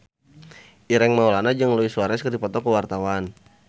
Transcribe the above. Ireng Maulana jeung Luis Suarez keur dipoto ku wartawan